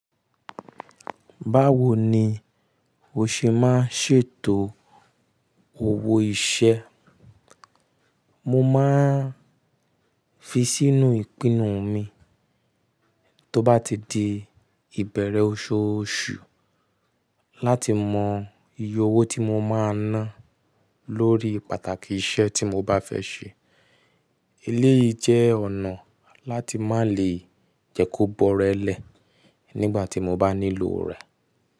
Báwo ni o ṣe máa ń ṣètò owó iṣẹ́? Mo máa ń fi sínú ìpinnu mi tó bá ti di ìbẹ̀rẹ̀ oṣooṣù láti mọ iye owó tí mo máa ná lórí pàtàkì iṣẹ́ tí mo bá fẹ́ ṣe. Eléyìí jẹ́ ọ̀nà láti má lè jẹ́ kó bọ́relẹ̀ nígbà tí mo bá nílò rẹ̀.